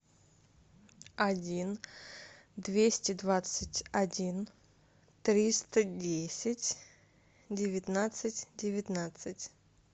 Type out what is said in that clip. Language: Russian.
один двести двадцать один триста десять девятнадцать девятнадцать